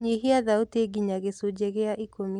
nyihĩa thaũtĩ nginya gĩcunji gĩa ikumi